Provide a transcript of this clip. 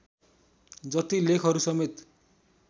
जति लेखहरूसमेत